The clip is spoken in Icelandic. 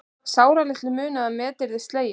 Sáralitlu munar að met verði slegið